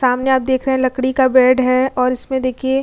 सामने आप देख रहें हैं लकड़ी का बेड है और इसमें देखिए --